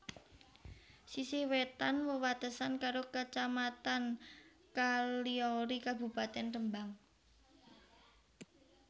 Sisih wétan wewatesan karo Kacamatan Kaliori Kabupatèn Rembang